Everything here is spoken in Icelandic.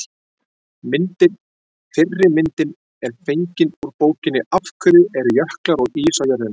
Myndir: Fyrri myndin er fengin úr bókinni Af hverju eru jöklar og ís á jörðinni?